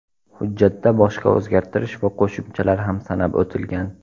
Hujjatda boshqa o‘zgartirish va qo‘shimchalar ham sanab o‘tilgan.